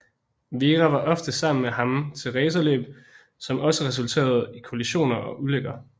Vera var ofte sammen med ham til racerløb som også resulterede i kollisioner og ulykker